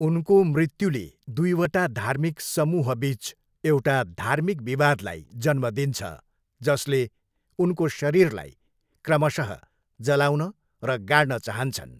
उनको मृत्युले दुईवटा धार्मिक समूहबिच एउटा धार्मिक विवादलाई जन्म दिन्छ जसले उनको शरीरलाई क्रमशः जलाउन र गाड्न चाहन्छन्।